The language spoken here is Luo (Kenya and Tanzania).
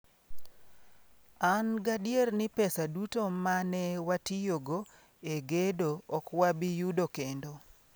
An gadier ni pesa duto ma ne watiyogo e gedo ok wabi yudo kendo".